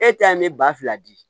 E ta mi ba fila di